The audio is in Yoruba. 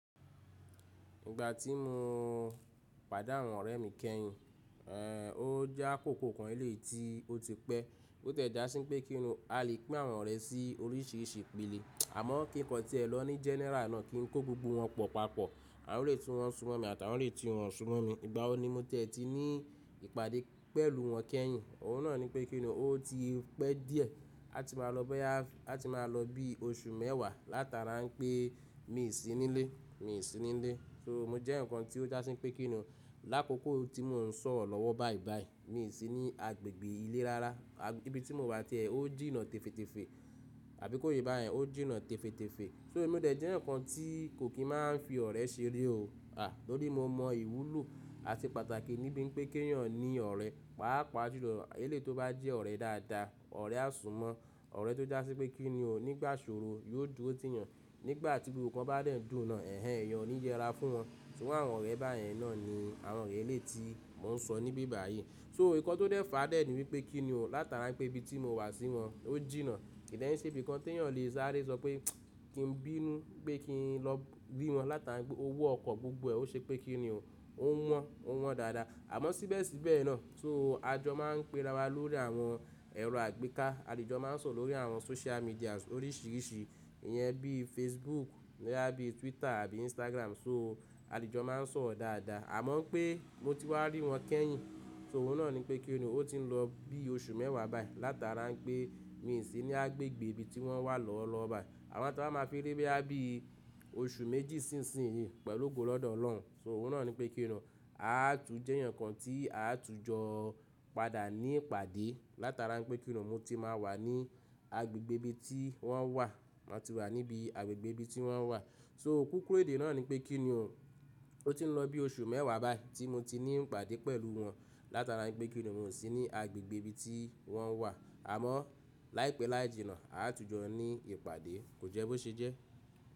Ìgbà tí mo o pàdé àwọn ọ̀rẹ́ mi kẹ́yìn, o je akoko kan eleyii tí ó ti pẹ́. Bi o tẹ̀ já sí n pé kí ni o, a lè pín àwọn ọ̀rẹ́ sí oríṣìíríṣìí ìpelẹ̀. Àmọ́ kí nǹkan tí ẹ lọ ní general náà kí n kó gbogbo wọn pọ̀ papọ̀. Àwọn elèyii tún wọn súnmọ́ mi àti àwọn elèyii tún wọn o súnmọ́ mi. Ìgbà wo ni mo tiẹ̀ ti ní i ìpàdé pẹ̀lú wọn kẹ́yìn? Òun náà ni pé kí ni o, ó ti i pẹ́ díẹ̀. A ti máa lọ boya, a ti máa lọ bí i oṣù mẹ́wàá látara n pé mi i sí nílé, mi i sí nílé. Soo mo jẹ́ eyan kan tí ó já sí n pé kí ni o, lákòókò tí mo ń sọ̀rọ̀ lọ́wọ́ bàìbàì, mi i sí ní agbègbè ilé rárá. Ibi tí mo wà tiẹ̀, ó jìnnà tèféètefee. Àbí kó yé bá yẹn, ó jìnnà tèféètèfeé. Soo mo dẹ̀ jẹ́ eyan kan tí i kò kí máa ń fi ọ̀rẹ́ ṣeré o. À! Nítorí mo mọ ìwúlò àti pàtàkì níbí ń pé kí ènìyàn ní ọ̀rẹ́. Paapaa ju lọ, eleyii tó bá jẹ́ ọ̀rẹ́ dáadáa, ọ̀rẹ́ ásunmọ́. Ọ̀rẹ́ tó já sí pé kí ni o nígbà ìṣòro yóò dúró tìyàn. Nígbà tí gbogbo ǹkan bá dẹ̀ n dùn náà, ẹ̀hẹ̀, eeyàn o ní yẹra fún wọn. So iru awọ́n ọ̀rẹ́ bá yẹn náà ni àwọn ọ̀rẹ́ eléyii tí mò ń sọ níbí báyìí. Soo ǹkan tó dẹ̀ fàá dẹ̀ ní wípé kí ni o, látara n pé ibi tí mo wà sí wọn ó jìnnà. Kí dẹ̀ ń ṣe ibí ikan tí èeyàn le sáré sọ pé kí n bínú pé kí n lọ rí wọn látara pé owó ọkọ̀ gbogbo ẹ, ó ṣe pé kí ni o. Ò wọ́n, ò wọ́n dáadáa. Àmọ́ síbẹ̀síbẹ̀ náà, soo, à jọ máa ń pera wa lórí àwọn ẹ̀rọ àgbéká. À de jò máa ń sọ̀rọ̀ lórí àwọn social medias oríṣìíríṣìí. Ìyẹn bí i Facebook, boya bí i Twitter àbí Instagram. Soo, à de jò máa ń sọ̀rọ̀ dáadáa. Àmọ́ pé mo ti wá rí wọn kẹ́yìn. So, òun náà ni pé kí ni o, o ti ń lọ bí i oṣù mẹ́wàá báyìí látara pé mi i sí ní agbègbè ibi tí wọ́n wà lọ́wọ́ lọwo bá yìí. Àmọ́ tá ba máa fi rí boya bí i oṣù méjì sísìnyii pẹ̀lú ogo lọ́dọ̀ Ọlọ́hun. So òun náà ni pé kí ni o, a tún jẹ́ eyan kan tí a tún jọ o padà ní ìpàdé látara pé kí ni o mo ti máa wà ní agbègbè ibi tí wọ́n wà. Mo ti wà níbi agbègbè ibi tí wọ́n wà. So kúkúrú èdè náà ni pé kí nù o ti ń lọ bí i oṣù mẹ́wàá báyìí tí mo ti ní ìpàdé pẹ̀lú wọn látara pé kí ni o mo sì ní agbègbèe ibi tí wọ́n wà. Àmọ́ láìpẹ́ láì jìnnà, a tún jọ ní ìpàdé. Kò jẹ́ bó ṣe jẹ́.